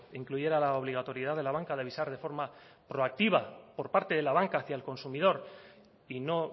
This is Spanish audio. incluyera la obligatoriedad de la banca de avisar de forma proactiva por parte de la banca hacia el consumidor y no